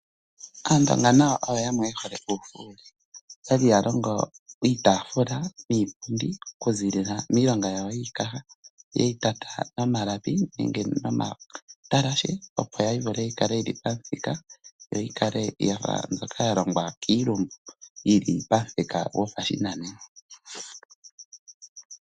Aandonga oyo ya mwe ye hole uufuuli. Okwali haya longo iitaafula niipundi niikaha yawo yene ye yi tata nomalapi nomatalashe opo yivule oku kala yi li pamuthika. Yikale yafa mbyoka ya longwa kiilumbu. Yili pamuthika gopashinanena.